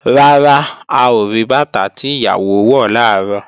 Rárá, a ò rí bàtà tí ìyàwó wọ̀ làárọ̀